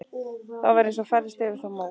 Það var eins og færðist yfir þá mók.